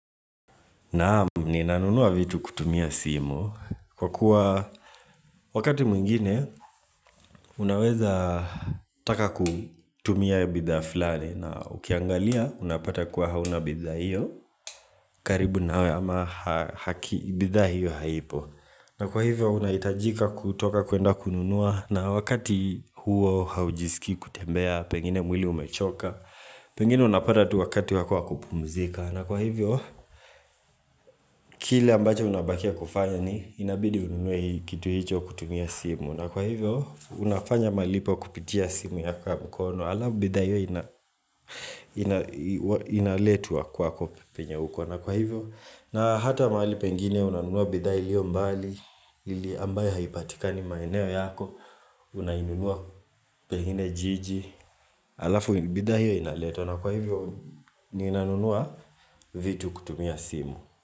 Naam ninanunua vitu kutumia simu kwa kuwa wakati mwingine unaweza taka kutumia bidhaa flani na ukiangalia unapata kuwa hauna bidhaa hiyo karibu nawe ama aki bidhaa hiyo haipo na kwa hivyo unahitajika kutoka kuenda kununua na wakati huo haujisikii kutembea pengine mwili umechoka Pengine unapata tu wakati wako wa kupumzika na kwa hivyo, kile ambacho unabakia kufanya ni Inabidi ununue kitu hicho kutumia simu na kwa hivyo, unafanya malipo kupitia simu ya ya mkono Alafu bidha hiyo ina inaletwa kwako penye uko na kwa hivyo, na hata mahali pengine unanunua bidhaa iliyo mbali Ili ambayo haipatikani maeneo yako Unainunua pengine jiji alafu bidhaa hiyo inaletwa na kwa hivyo ninanunua vitu kutumia simu.